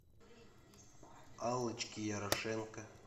аллочке ярошенко